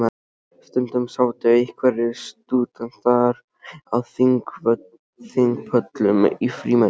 Stundum sátu einhverjir stúdentar á þingpöllum í frímínútum.